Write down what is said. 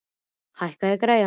Benvý, hækkaðu í græjunum.